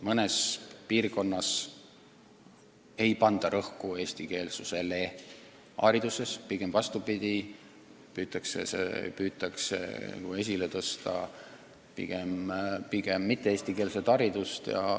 Mõnes piirkonnas ei panda rõhku eestikeelsusele hariduses, pigem vastupidi, püütakse esile tõsta mitte-eestikeelset haridust.